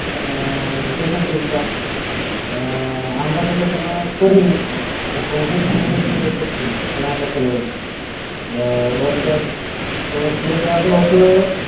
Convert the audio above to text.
আহ tuition fees টা আহ আমরা তো সে সময় করিনি সৌভিক নামে ইয়ে করছিল ওখানে একটা ছেলেগুলো ওর PFW হত